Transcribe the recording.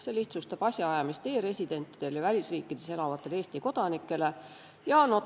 See lihtsustab e-residentide ja välisriikides elavate Eesti kodanike asjaajamist.